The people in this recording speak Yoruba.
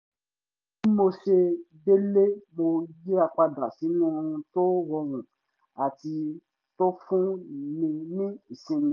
bí mo ṣe dé’lé mo yíra padà sínú ohun tó rọrùn àti tó fún ni ní ìsinmi